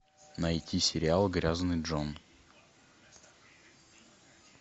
найти сериал грязный джон